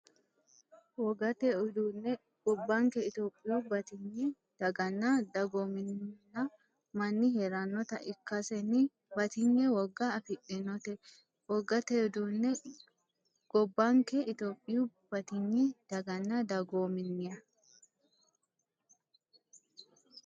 Wogate Uduunne Gobbanke Itophiyu batinye daganna dagoominna manni hee’rannota ikkasenni batinye woga afidhinote Wogate Uduunne Gobbanke Itophiyu batinye daganna dagoominna.